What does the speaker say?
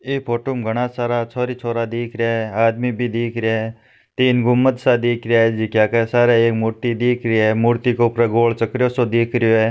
ई फोटो में घना सारा छोरी छोरा दिख रहिया है आदमी भी दिख रहिया है तीन गुमत सा दिख रिया है जका के सारे एक मूर्ति दिख रही है मूर्ति के ऊपर गोल चक्रयो सो दिख रहियो है।